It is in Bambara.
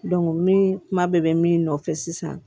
min kuma bɛɛ bɛ min nɔfɛ sisan